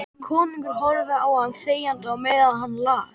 Konungur horfði á hann þegjandi á meðan hann las: